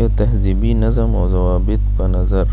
یو تهذیبي نظم و ظوابط په نظر